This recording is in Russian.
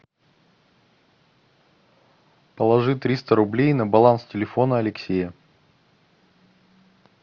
положи триста рублей на баланс телефона алексея